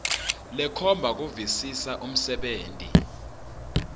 lekhomba kuvisisa umsebenti